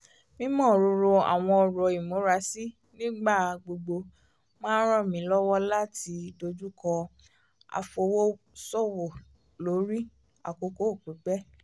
mímọ̀rọ̀rọ̀ àwọn ọ̀rọ̀ ìmúrasí nígbà gbogbo máa ń ràn mí lọ́wọ́ láti dojúkọ́ àfọwọ́sowọ́lórí àkókò pípẹ́